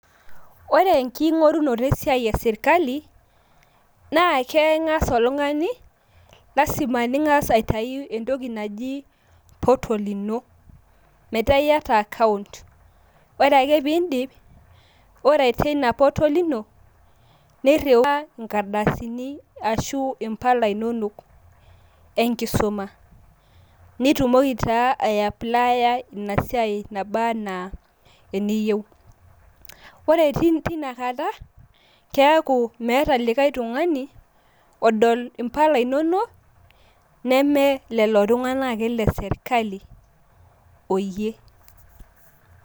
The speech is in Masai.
Ore enking`orunoto e siai e sirkali naa keng`as oltung`ani lazima ning`as aitayu entoki naji portal ino metaa iyata account. Ore ake pee idip, ore teina portal ino nirriwaa nkardasini ashu impala inonok e nkisuma. Nitumoki naa ayaplaaya ina siai nabaana eniyieu. Ore teina kata kiaku meetae likae tung`ani odol impala imomok neme lelo tung`anak ake le sirkali oyie.